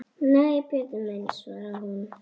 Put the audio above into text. Nei, Pétur minn svaraði hún.